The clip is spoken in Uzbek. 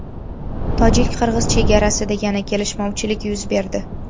Tojik-qirg‘iz chegarasida yana kelishmovchilik yuz berdi.